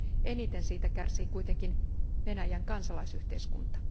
Eniten siitä kärsii kuitenkin Venäjän kansalaisyhteiskunta.